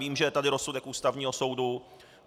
Vím, že je tady rozsudek Ústavního soudu.